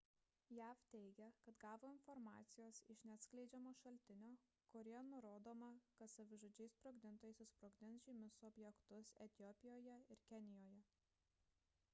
jav teigia kad gavo informacijos iš neatskleidžiamo šaltinio kurioje nurodoma kad savižudžiai sprogdintojai susprogdins žymius objektus etiopijoje ir kenijoje